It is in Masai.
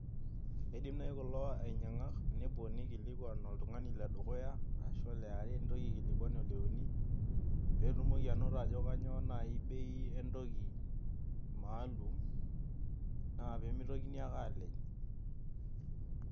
Keidim naaji kulo ainyang'ak nepuo neikilokwan oltungani le dukuyaa ashu pleasure nitoki aikilikwan Ole uni peetumoki anoto ajo kainyoo naai bei entoki maalum naa peemeitokini ake aalej.